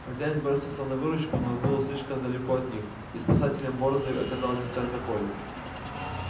хозяин бросился на выручку но он был слишком далеко от них и спасителем борзой оказалась овчарка колли